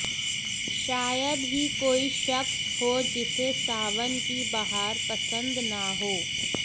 शायद ही कोई शख्स हो जिसे सावन की बहार पसंद न हो